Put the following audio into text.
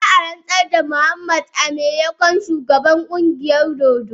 Za a ransar da Muhammad a matsayin babban shugaban kungiyar dodo.